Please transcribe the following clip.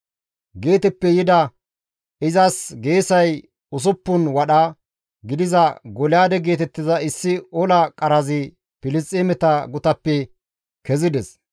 Geeteppe yida izas geesay usuppun wadha gidiza Golyaade geetettiza issi ola qarazi Filisxeemeta gutappe kezides.